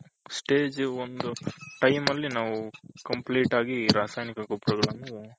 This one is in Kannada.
stage ಒಂದು timeಅಲ್ಲಿ ನಾವು complete ಆಗಿ ರಾಸಾಯನಿಕ ಗೊಬ್ಬರಗಳನ್ನು